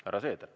Härra Seeder.